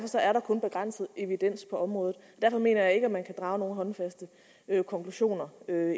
er der kun begrænset evidens på området derfor mener jeg ikke at man kan drage nogen håndfaste konklusioner